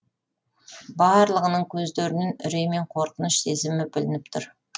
барлығының көздерінен үрей мен қорқыныш сезімі білініп тұр